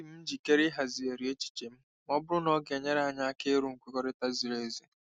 Adị m njikere ịhazigharị echiche m ma ọ bụrụ na ọ ga-enyere anyị aka iru nkwekọrịta ziri ezi.